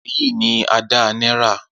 Eyi ni Ada Naira.